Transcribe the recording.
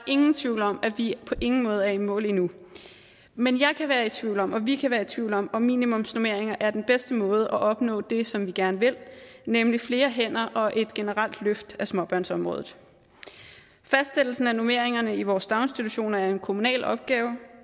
ingen tvivl om at vi på ingen måde er i mål i nu men jeg kan være i tvivl om og vi kan være i tvivl om om minimumsnormeringer er den bedste måde at opnå det som vi gerne vil nemlig flere hænder og et generelt løft af småbørnsområdet fastsættelsen af normeringerne i vores daginstitutioner er en kommunal opgave